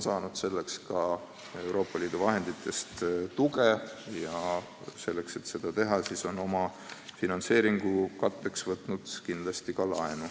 Asutus on selleks ka Euroopa Liidu fondidest tuge saanud, aga et plaane ellu viia, on omafinantseeringu katteks tulnud ka laenu võtta.